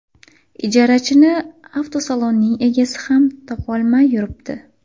Ijarachini avtosalonning egasi ham topolmay yuribdi.